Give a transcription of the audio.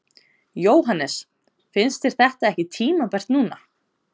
Jóhannes: Finnst þér þetta ekki tímabært núna?